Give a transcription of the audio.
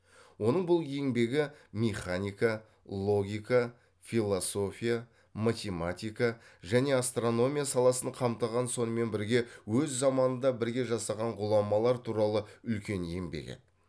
оның бұл еңбегі механика логика философия математика және астрономия саласын қамтыған сонымен бірге өз заманында бірге жасаған ғұламалар туралы үлкен еңбек еді